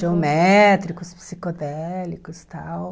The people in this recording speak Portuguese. Geométricos, psicodélicos, tal.